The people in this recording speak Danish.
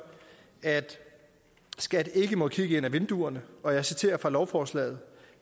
at skat ikke må kigge ind ad vinduerne og jeg citerer fra lovforslaget